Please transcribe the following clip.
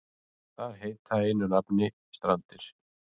Þar heita einu nafni Strandir.